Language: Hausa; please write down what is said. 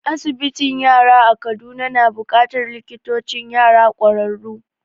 Asibitin yara a Kaduna na buƙatar likitocin yara ƙwararru